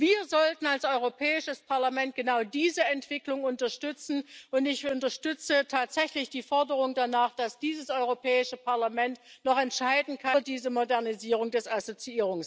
Wir sollten als Europäisches Parlament genau diese Entwicklung unterstützen, und ich unterstütze tatsächlich die Forderung danach, dass dieses Europäische Parlament noch über diese Modernisierung des Assoziierungsabkommens entscheiden kann.